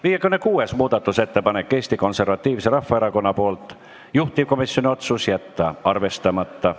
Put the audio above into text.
56. muudatusettepanek on Eesti Konservatiivselt Rahvaerakonnalt, juhtivkomisjoni otsus: jätta arvestamata.